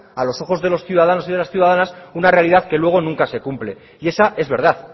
a los ojos de los ciudadanos y las ciudadanas una realidad que luego nunca se cumple y esa es verdad